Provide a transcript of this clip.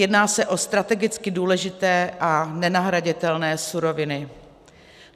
Jedná se o strategicky důležité a nenahraditelné suroviny.